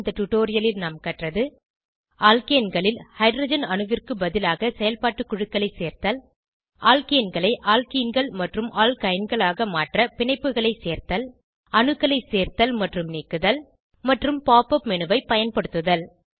இந்த டுடோரியலில் நாம் கற்றது அல்கேன்களில் ஹைட்ரஜன்அணுவிற்கு பதிலாக செயல்பாட்டு குழுக்களை சேர்த்தல் அல்கேன்களை அல்கீன்கள் மற்றும் அல்கைன்களாக மாற்ற பிணைப்புகளை சேர்த்தல் அணுக்களை சேர்த்தல் மற்றும் நீக்குதல் மற்றும் pop up மேனு ஐ பயன்படுத்துதல்